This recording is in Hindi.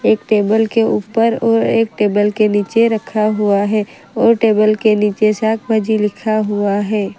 एक टेबल के ऊपर और एक टेबल के नीचे रखा हुआ है और टेबल के नीचे सात बजे लिखा हुआ है।